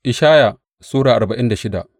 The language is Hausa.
Ishaya Sura arba'in da shida